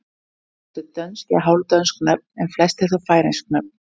Sumir völdu dönsk eða hálfdönsk nöfn en flestir þó færeysk nöfn.